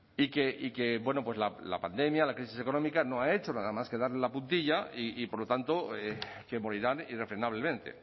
y que bueno pues la pandemia la crisis económica no ha hecho nada más que darle la puntilla y por lo tanto que morirán irrefrenablemente